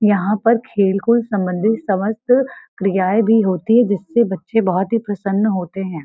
यहाँ पर खेल-कूद सम्बन्धित समस्त क्रियाएं भी होती हैं जिससे बच्चे बहुत ही प्रसन्न होते हैं ।